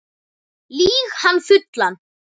Lýg hann fullan